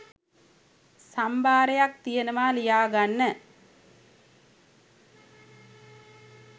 සම්භාරයක් තියෙනවා ලියා ගන්න